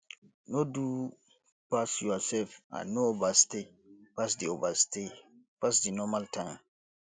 no do pass yourself and no overstay pass di overstay pass di normal time